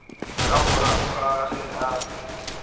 ka morago ga ge a